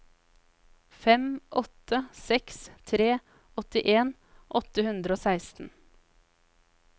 fem åtte seks tre åttien åtte hundre og seksten